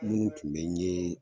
Munu tun be n yee